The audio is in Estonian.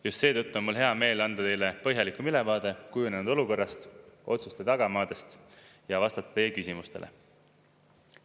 Just seetõttu on mul hea meel anda teile põhjalikum ülevaade kujunenud olukorrast, otsuste tagamaadest, ja vastata meie küsimustele.